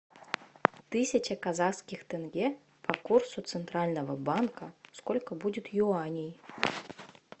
тысяча казахских тенге по курсу центрального банка сколько будет юаней